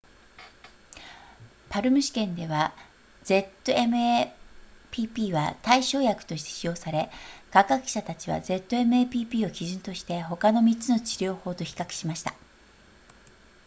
palm 試験では zmapp は対照薬として使用され科学者たちは zmapp を基準として他の3つの治療法と比較しました